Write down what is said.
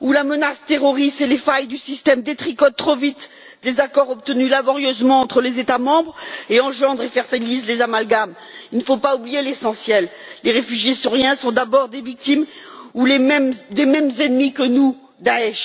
où la menace terroriste et les failles du système détricotent trop vite des accords obtenus laborieusement entre les États membres et engendrent et fertilisent les amalgames. Il ne faut pas oublier l'essentiel les réfugiés syriens sont d'abord les victimes du même ennemi que le nôtre, à savoir Daech.